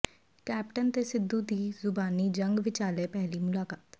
captain ਤੇ ਸਿੱਧੂ ਦੀ ਜ਼ੁਬਾਨੀ ਜੰਗ ਵਿਚਾਲੇ ਪਹਿਲੀ ਮੁਲਾਕਾਤ